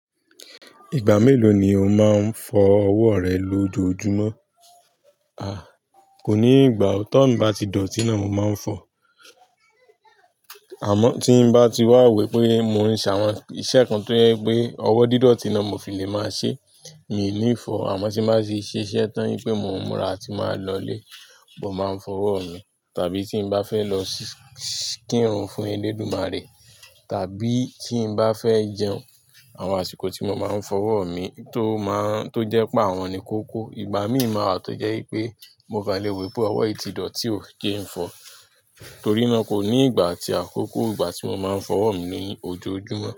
Ìgbà mélòó ni o máa ń fọ ọwọ́ rẹ lójoojúmọ́? À, kò ní ìgbà. Tó ń bá ti dọ̀tí náà mo máa ń fọ. Àmọ́ tí n bá ti wà wípé mò ń ṣe àwọn iṣẹ́ kan tó ń jẹ́ pé ọwọ́ dídọ̀tí náà mo fi lè máa ṣe, ìní fọ̀, àmọ́ tí bá sì ṣiṣẹ́ tán yípé mò ń múra tí màá lọ ilé, mo máa ń fọ ọwọ́ mi. Tàbí tí n bá fẹ́ lọ kírun fún elédùmarè, tàbí tín bá fẹ́ jẹun, àwọn àsìkò tí mo máa ń fọ ọwọ́ mi tó máa ń, tó jẹ́ pé àwọn ni kókó. Ìgbà míì máa wà tó jẹ́ wípé mo kán lè wo pé ọwọ́ yi tí dọ̀tí o jen fọ, torí náà kò ní ìgbà àti àkókò ìgbà tí mo máa ń fọ ọwọ́ mi ní ojoojúmọ́.